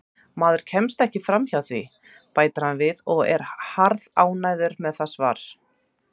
Maður kemst ekki hjá því, bætir hann við og er harðánægður með það svar.